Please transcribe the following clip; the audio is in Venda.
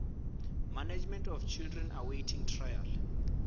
management of children awaiting trial